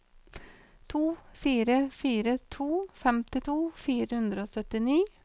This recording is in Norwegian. to fire fire to femtito fire hundre og syttini